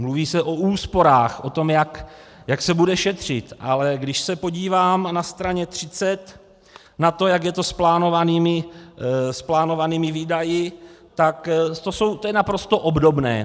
Mluví se o úsporách, o tom, jak se bude šetřit, ale když se podívám na straně 30 na to, jak je to s plánovanými výdaji, tak to je naprosto obdobné.